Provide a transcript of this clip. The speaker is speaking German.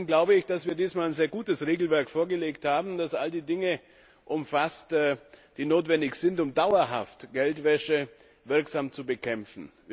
Trotzdem glaube ich, dass wir dieses Mal ein sehr gutes Regelwerk vorgelegt haben, das all die Dinge umfasst, die notwendig sind, um Geldwäsche dauerhaft wirksam zu bekämpfen.